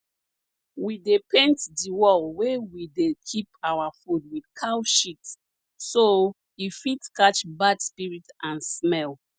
we dey paint di wall wey we dey keep our food with cow sheat so e fit catch bad spirit and smell